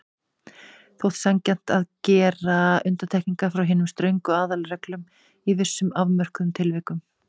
Þótti sanngjarnt að gera undantekningar frá hinum ströngu aðalreglum í vissum afmörkuðum tilvikum.